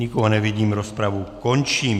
Nikoho nevidím, rozpravu končím.